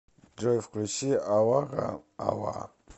джой включи алака ала